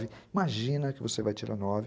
Imagina que você vai tirar nove